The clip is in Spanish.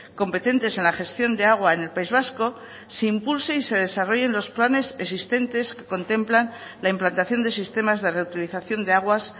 competentes en la gestión de agua en el país vasco se impulsen y se desarrollen los planes existentes que contemplan la implantación de sistemas de reutilización de aguas